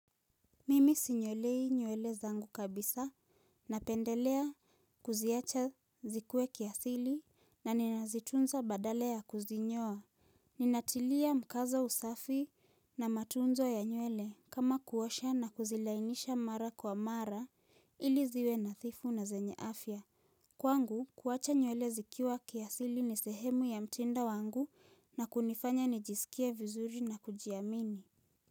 Mimi sinyolei nywele zangu kabisa napendelea kuziacha zikue kiasili na ninazitunza badala ya kuzinyoa. Ninatilia mkaza usafi na matunzo ya nywele kama kuosha na kuzilainisha mara kwa mara ili ziwe nathifu na zenye afya. Kwangu kuacha nywele zikiwa kiasili ni sehemu ya mtindo wangu na kunifanya nijisikie vizuri na kujiamini.